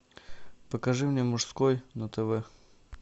покажи мне мужской на тв